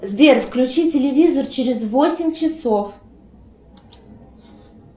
сбер включи телевизор через восемь часов